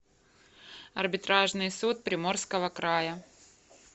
арбитражный суд приморского края